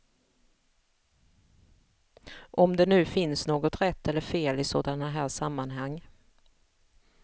Om det nu finns något rätt eller fel i sådana här sammanhang.